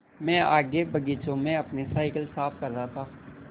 मैं आगे बगीचे में अपनी साईकिल साफ़ कर रहा था